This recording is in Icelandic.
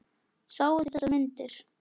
Sáuð þið þessar myndir?